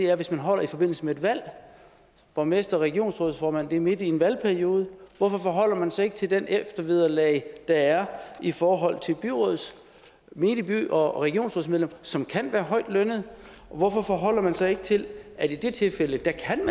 er hvis man holder i forbindelse med et valg borgmestre og regionsrådsformænd er midt i en valgperiode hvorfor forholder man sig ikke til det eftervederlag der er i forhold til menige byråds og regionsrådsmedlemmer som kan være højtlønnede hvorfor forholder man sig ikke til at i det tilfælde kan